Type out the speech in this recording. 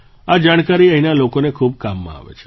આ જાણકારી અહીંના લોકોને ખૂબ કામમાં આવે છે